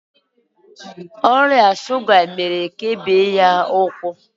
ọrịa shuga mere ka e bee ya ụkwụ.